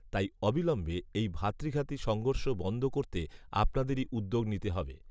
তাই অবিলম্বে এই ভ্রাতৃঘাতী সংঘর্ষ বন্ধ করতে আপনাদেরই উদ্যোগ নিতে হবে